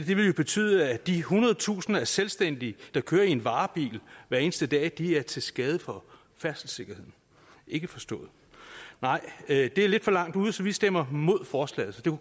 det ville jo betyde at de hundredtusinder af selvstændige der kører i en varebil hver eneste dag er til skade for færdselssikkerheden ikke forstået nej det er lidt for langt ude så vi stemmer imod forslaget